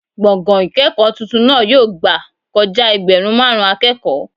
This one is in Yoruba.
Gbọ̀ngàn ìkẹ́kọ̀ọ́ tuntun náà yóò gbà kojá ẹgbẹ̀rún máàrún akẹ́kọ̀ọ́